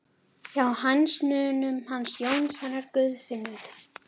Hjá hænsnunum hans Jóns hennar Guðfinnu